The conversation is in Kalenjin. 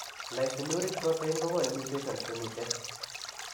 Lysinuric protein kogonu mutations chemiten